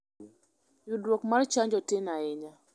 Yudoruok mar chanjo tin ahinya.